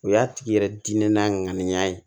O y'a tigi yɛrɛ diinɛ n'a ŋaniya ye